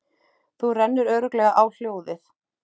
Þú rennur örugglega á hljóðið!